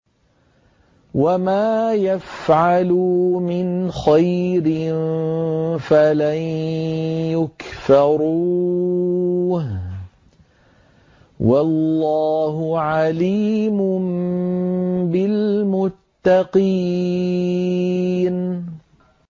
وَمَا يَفْعَلُوا مِنْ خَيْرٍ فَلَن يُكْفَرُوهُ ۗ وَاللَّهُ عَلِيمٌ بِالْمُتَّقِينَ